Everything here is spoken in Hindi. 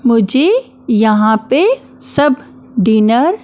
मुझे यहाँ पे सब डिनर --